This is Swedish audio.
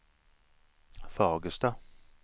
Fagersta